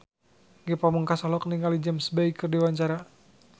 Ge Pamungkas olohok ningali James Bay keur diwawancara